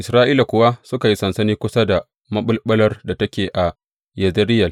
Isra’ila kuwa suka yi sansani kusa da maɓulɓular da take Yezireyel.